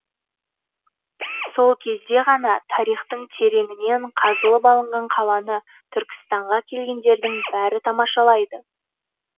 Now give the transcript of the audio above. сол кезде ғана тарихтың тереңінен қазылып алынған қаланы түркістанға келгендердің бәрі тамашалайды